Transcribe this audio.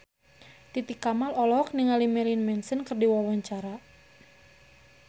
Titi Kamal olohok ningali Marilyn Manson keur diwawancara